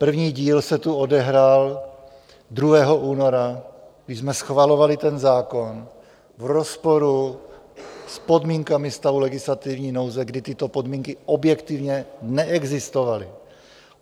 První díl se tu odehrál 2. února, když jsme schvalovali ten zákon v rozporu s podmínkami stavu legislativní nouze, kdy tyto podmínky objektivně neexistovaly.